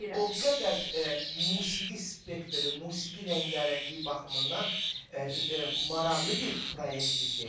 O qədər musiqi spektri, musiqi rəngarəngliyi baxımından maraqlı bir proyektdir ki.